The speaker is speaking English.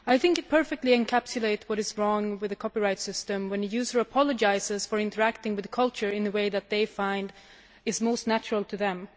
That perfectly encapsulates what is wrong with the copyright system when users apologise for interacting with culture in a way that they find most natural to them.